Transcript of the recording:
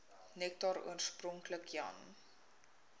nektar oorspronklik jan